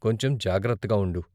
కొంచెం జాగ్రత్తగా ఉండు.